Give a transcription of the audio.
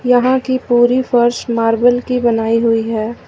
यहां की पूरी फर्श मार्बल की बनाई हुई है।